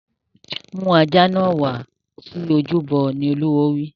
Mú ajá náà wá sí ojúbọ! Olúwo wí.